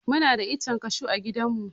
Muna da ichen cashew a gidan mu